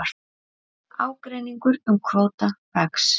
Ágreiningur um kvóta vex